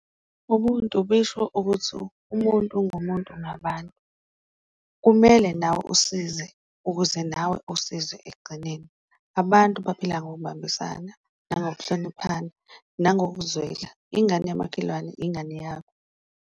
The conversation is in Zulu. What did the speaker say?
Ubuntu bisho ukuthi umuntu ungumuntu ngabantu, kumele nawe usize ukuze nawe usizwe ekugcineni, abantu baphila ngokubambisana, nangokuhloniphana, nangokuzwela, ingane yamakhelwane, ingane yakho.